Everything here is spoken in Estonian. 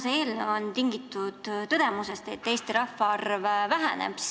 See eelnõu on ajendatud tõdemusest, et Eesti rahvaarv väheneb.